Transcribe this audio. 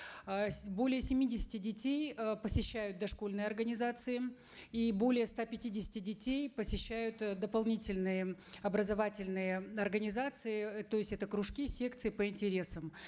э более семидесяти детей э посещают дошкольные организации и более ста пятидесяти детей посещают э дополнительные образовательные организации то есть это кружки секции по интересам